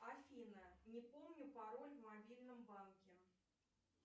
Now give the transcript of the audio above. афина не помню пароль в мобильном банке